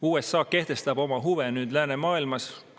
USA kehtestab nüüd oma huve läänemaailmas.